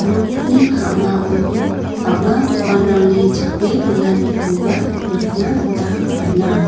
nokni ka·mao bang·a dokanrangni chipe donanikoba nikna gita man·a.